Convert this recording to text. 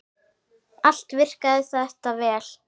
Allt virkaði þetta vel.